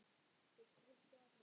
Þeir drukku allir.